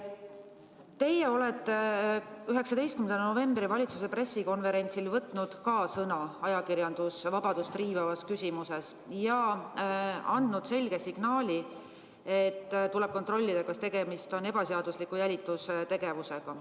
Teie olete 19. novembril toimunud valitsuse pressikonverentsil võtnud sõna ajakirjandusvabadust riivavas küsimuses ja andnud selge signaali, et tuleb kontrollida, kas tegemist on olnud ebaseadusliku jälitustegevusega.